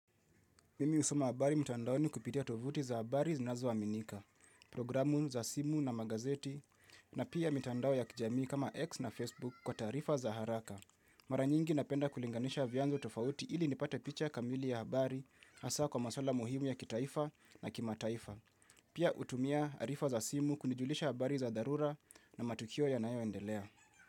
Mimi husoma habari mtandaoni kupitia tovuti za habari zinazoaminika, programu za simu na magazeti na pia mtandao ya kijami kama X na Facebook kwa tarifa za haraka. Mara nyingi napenda kulinganisha vyanzo tofauti ili nipate picha kamili ya habari hasa kwa masuala muhimu ya kitaifa na kimataifa. Pia utumia arifa za simu kunijulisha habari za dharura na matukio yanayo endelea.